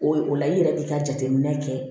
O ye o la i yɛrɛ de ka jateminɛ kɛ